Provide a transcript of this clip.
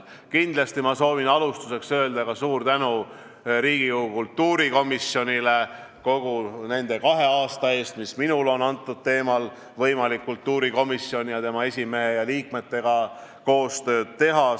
Kindlasti soovin ma alustuseks öelda suur tänu ka Riigikogu kultuurikomisjonile nende kahe aasta eest, mis minul on antud teemal olnud võimalik kultuurikomisjoni ning tema esimehe ja liikmetega koostööd teha.